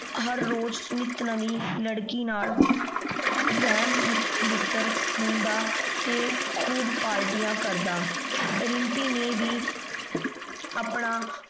ਹਰ ਰੋਜ਼ ਨਿਤ ਨਵੀ ਲੜਕੀ ਨਾਲ ਹਮਬਿਸਤਰ ਹੁੰਦਾ ਤੇ ਖੂਬ ਪਾਰ੍ਟਿਯਾੰ ਕਰਦਾ। ਦਿਮ੍ਪੀ ਨੇ ਵੀ ਆਪਣਾ